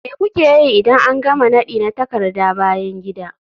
Me kuke yi idan an gama nadi na takarda bayan gida?